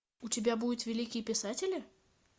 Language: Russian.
у тебя будет великие писатели